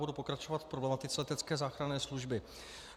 Budu pokračovat v problematice letecké záchranné služby.